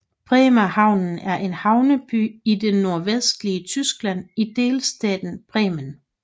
Bremerhaven er en havneby i det nordvestlige Tyskland i delstaten Bremen